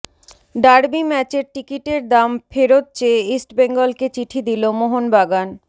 derby ম্যাচের টিকিটের দাম ফেরত চেয়ে ইস্টবেঙ্গলকে চিঠি দিল মোহনবাগান